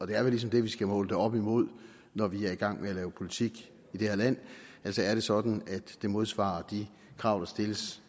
det er vel ligesom det vi skal måle det op imod når vi er i gang med at lave politik i det her land altså er det sådan at det modsvarer de krav der stilles